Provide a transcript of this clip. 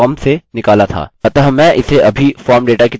अतः मैं इसे अभी form data की तरह कमेन्ट कर दूँगा